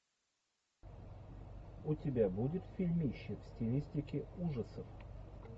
у тебя будет фильмище в стилистике ужасов